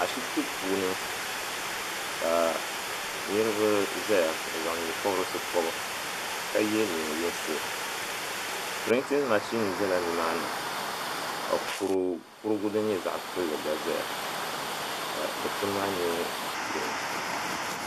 Ashibti puuni ka niriba zaya n zaŋ nyɛpɔbrisi pɔbi ka ye niɛn yinsi pirintin mashini zala nimaani ka kurigu din nyɛ zaɣa kpilli gba zaya ka dikpini maa nyɛ girin.